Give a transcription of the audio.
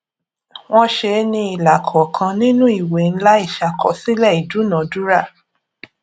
wọn ṣe é ní ilà kọọkan nínú ìwé ńlá ìṣàkọsílẹ ìdúnadúrà